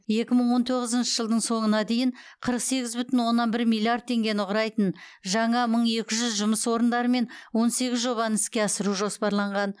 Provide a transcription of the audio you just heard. екі мың он тоғызыншы жылдың соңына дейін қырық сегіз бүтін оннан бір миллиард теңгені құрайтын жаңа мың екі жүз жұмыс орындарымен он сегіз жобаны іске асыру жоспарланған